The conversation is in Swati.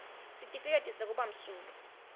sitifiketi sekuba msulwa